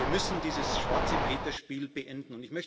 Wir müssen dieses Schwarze Peter Spiel beenden.